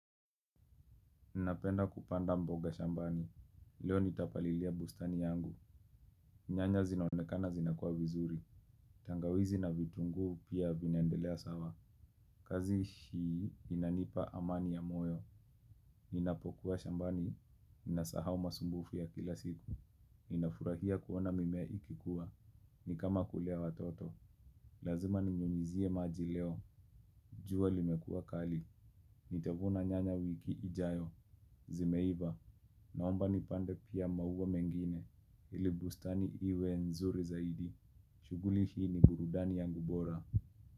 Napenda kupanda mboga shambani, leo nitapalilia bustani yangu, nyanya zinonekana zinakua vizuri, tangawizi na vitungu pia vinyendelea sawa, kazi hii inanipa amani ya moyo, ninapokuwa shambani, ninasahau masumbufu ya kila siku, ninafurahia kuona mimea ikikuwa, nikama kulea watoto, lazima ninyunyuzie maji leo, juwa limekua kali, nitavuna nyanya wiki ijayo, zimeiva, naomba nipande pia mahuwa mengine ili bustani iwe nzuri zaidi. Shuguli hii ni burudani yangu bora.